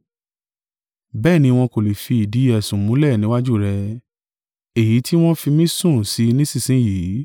Bẹ́ẹ̀ ni wọ́n kò lè fi ìdí ẹ̀sùn múlẹ̀ níwájú rẹ, èyí tí wọn fi mí sùn sí nísinsin yìí.